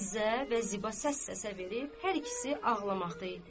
Fizzə və Ziba səs-səsə verib, hər ikisi ağlamaqda idi.